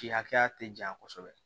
Ci hakɛya tɛ janya kosɛbɛ